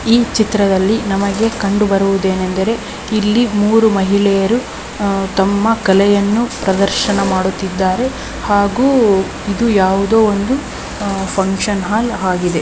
ಈ ಚಿತ್ರದಲ್ಲಿ ನಮಗೆ ಕಂಡು ಬರುವುದು ಏನೆಂದರೆ ಇಲ್ಲಿ ಮೂರು ಮಹಿಳೆಯರು ತಮ್ಮ ಕಲೆಯನ್ನು ಪ್ರದರ್ಶನ ಮಾಡುತ್ತಿದ್ದಾರೆ ಹಾಗೂ ಇದು ಯಾವುದೋ ಒಂದು ಫಂಕ್ಷನ್ಹಾಲ್ ಆಗಿದೆ.